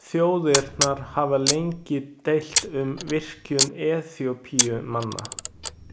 Þjóðirnar hafa lengi deilt um virkjun Eþíópíumanna.